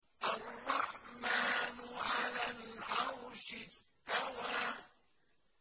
الرَّحْمَٰنُ عَلَى الْعَرْشِ اسْتَوَىٰ